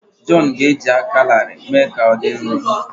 Jọn ga-eji aka larịị mee ka ọ dị nro.